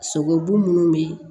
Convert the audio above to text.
Sogobu minnu bɛ